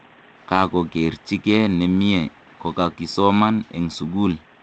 Kakokerchike nemiee kokakisoman eng sukul.